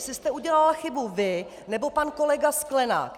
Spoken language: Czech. Jestli jste udělala chybu vy, nebo pan kolega Sklenák.